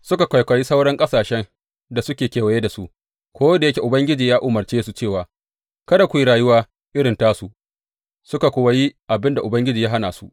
Suka kwaikwayi sauran ƙasashen da suke kewaye da su, ko da yake Ubangiji ya umarce su cewa, Kada ku yi rayuwa irin tasu, suka kuwa yi abin da Ubangiji ya hana su.